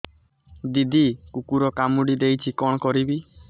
ଦିଦି କୁକୁର କାମୁଡି ଦେଇଛି କଣ କରିବି